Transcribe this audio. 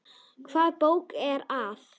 Hvaða bók er það?